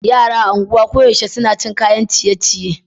Yara a anguwa koyaushe suna cin kayan ciye-ciye.